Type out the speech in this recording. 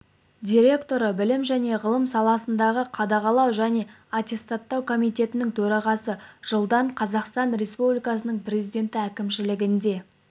директоры білім және ғылым саласындағы қадағалау және аттестаттау комитетінің төрағасы жылдан қазақстан республикасының президенті әкімшілігінде